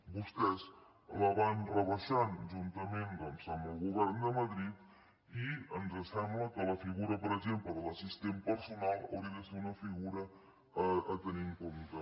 vostès la van rebaixant juntament doncs amb el govern de madrid i ens sembla que la figura per exemple de l’assistent personal hauria de ser una figura a tenir en compte